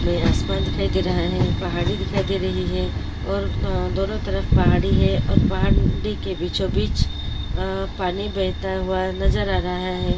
मे आसमान दिखाई दे रहा है पहाड़ी दिखाई दे रही है और दोनों तरफ पहाड़ी है और पहाड़ देके बीचों-बीच आ पानी बहता हुआ नजर आ रहा है।